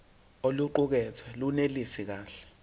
oluqukethwe lunelisi kahle